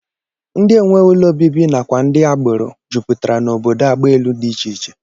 Ndị enweghị ụlọ obibi nakwa ndị agbero jupụtara n'obodo agbaelu dị iche iche